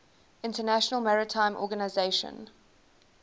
international maritime organization